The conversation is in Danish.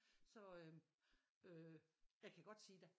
Så øh øh jeg kan godt sige dig